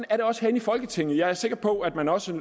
er det også herinde i folketinget jeg er sikker på at man også